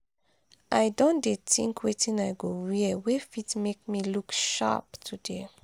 i don dey think wetin i go wear wey fit make me look sharp today.